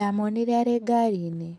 Ndamwonire arĩ ngari-inĩ.